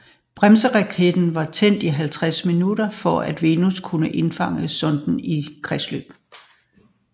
Bremseraketten var tændt i 50 minutter for at Venus kunne indfange sonden i kredsløb